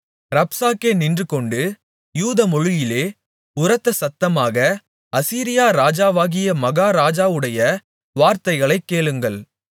ரப்சாக்கே நின்றுகொண்டு யூதமொழியிலே உரத்தசத்தமாக அசீரியா ராஜாவாகிய மகாராஜாவுடைய வார்த்தைகளைக் கேளுங்கள்